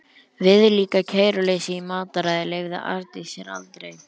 Viðlíka kæruleysi í mataræði leyfði Arndís sér aldrei.